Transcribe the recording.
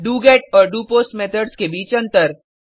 do get और doPost methods के बीच अंतर